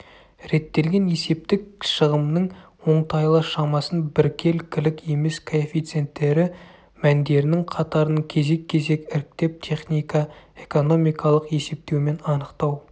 реттелген есептік шығымның оңтайлы шамасын біркелкілік емес коэффициенттері мәндерінің қатарын кезек-кезек іріктеп техника-экономикалық есептеумен анықтау